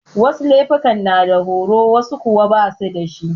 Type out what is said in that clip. Wasu laifuka na da horo wasu kuwa basu dashi.